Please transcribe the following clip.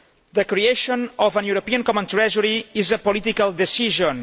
The creation of a European common treasury is a political decision.